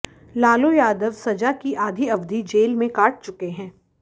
लालू यादव सजा की आधी अवधि जेल में काट चुके हैं